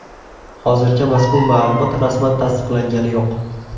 Hozircha mazkur ma’lumot rasman tasdiqlangani yo‘q.